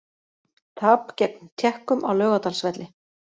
Tap gegn Tékkum á Laugardalsvelli